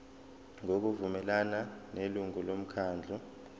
ngokuvumelana nelungu lomkhandlu